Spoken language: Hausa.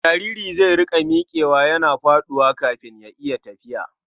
Jariri zai riƙa miƙewa yana faɗuwa kafin ya iya tafiya.